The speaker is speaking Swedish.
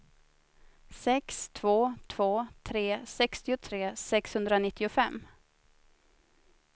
sex två två tre sextiotre sexhundranittiofem